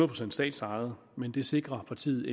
procent statsejet men det sikrer partiet